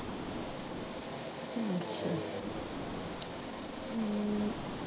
ਹਮ